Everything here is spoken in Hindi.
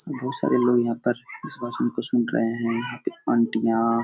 बोहत सारे लोग यहाँ पर इस भाषण को सुन रहे हैं। यहाँ पे आंटियां --